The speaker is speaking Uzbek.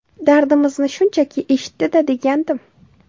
Dardimizni shunchaki eshitdi-da, degandim.